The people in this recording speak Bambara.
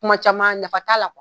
Kuma caman nafa la